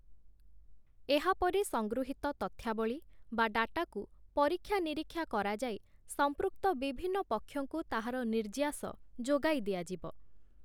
ଏହା ପରେ ସଂଗୃହୀତ ତଥ୍ୟାବଳୀ ବା ଡାଟାକୁ ପରୀକ୍ଷା-ନିରୀକ୍ଷା କରାଯାଇ, ସମ୍ପୃକ୍ତ ବିଭିନ୍ନ ପକ୍ଷଙ୍କୁ ତାହାର ନିର୍ଯ୍ୟାସ ଯୋଗାଇ ଦିଆଯିବ ।